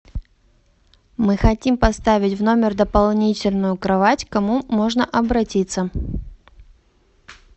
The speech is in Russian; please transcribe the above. мы хотим поставить в номер дополнительную кровать к кому можно обратиться